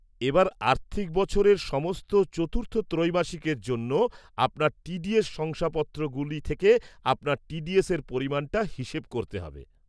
এবার আর্থিক বছরের সমস্ত চতুর্থ ত্রৈমাসিকের জন্য আপনার টি ডি এস শংসাপত্রগুলি থেকে আপনার টি ডি এসের পরিমাণটা হিসেব করতে হবে।